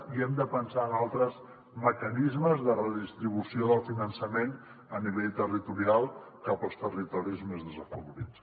i hem de pensar en altres mecanismes de redistribució del finançament a nivell territorial cap als territoris més desafavorits